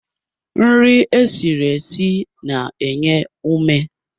Nri esiri esi na-enye ume